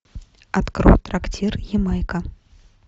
открой трактир ямайка